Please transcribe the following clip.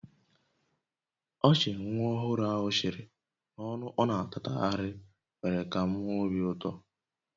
Ọchị nwa ọhụrụ ahụ chịrị na ọnụ ọ na-atatagharị mere ka m nwee obi ụtọ